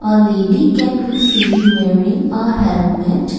a lady can be seen wearing a helmet.